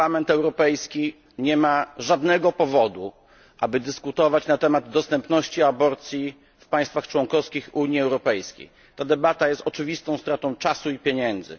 Parlament Europejski nie ma żadnego powodu, aby dyskutować na temat dostępności aborcji w państwach członkowskich Unii Europejskiej. Ta debata jest oczywistą stratą czasu i pieniędzy.